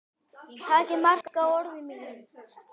Takið mark á orðum mínum.